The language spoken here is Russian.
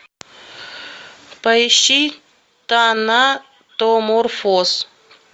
поищи танатоморфоз